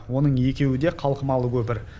оның екеуі де қалқымалы көпір